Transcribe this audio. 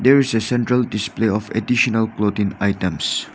there is a central display of additional clothing items.